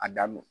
A da don